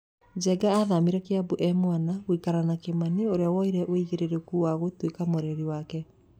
Njenga athamĩire Kiambu e mwana gũikara na Kimani ũrĩa woire aĩigĩrĩrĩki wa gũtuĩka mũreri wake.